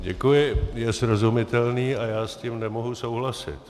Děkuji, je srozumitelný a já s tím nemohu souhlasit.